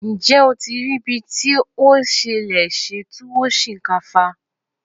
Ǹjẹ́ o ti rii bí o ṣe lè ṣe túwó sìnkáfá?